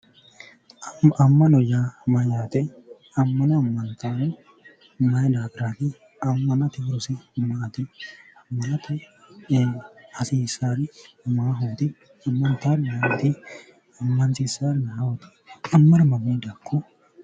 Ama'no, ama'note amana amantanohu maayi daafirati ,ama'note loodino maati, ama'no hasiisari maahoti, amansiisarino ayiooti ?